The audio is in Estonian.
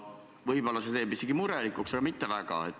Võib-olla teevad need isegi murelikuks, aga mitte väga.